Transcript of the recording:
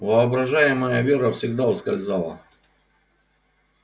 воображаемая вера всегда ускользала